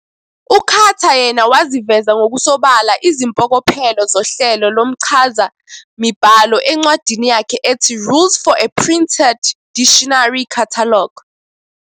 U-Cutter yena waziveza ngokusobala izimpokophelo zohlelo lomchazamibhalo encwadini yakhe ethi "Rules for a Printed Dictionary Catalog".